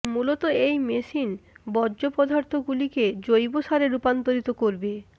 মূলত এই মেশিন বর্জ্য় পদার্থ গুলিকে জৈবসারে রুপান্তরিত করবে